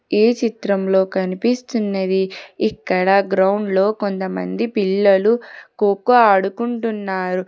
ఈ చిత్రంలో కనిపిస్తున్నది ఇక్కడ గ్రౌండ్ లో కొంతమంది పిల్లలు ఖో ఖో ఆడుకుంటున్నారు.